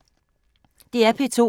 DR P2